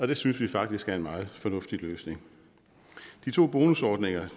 det synes vi faktisk er en meget fornuftig løsning de to bonusordninger